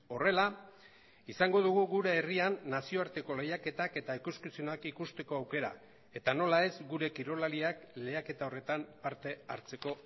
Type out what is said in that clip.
horrela izango dugu gure herrian nazioarteko lehiaketak eta ikuskizunak ikusteko aukera eta nola ez gure kirolariak lehiaketa horretan parte hartzeko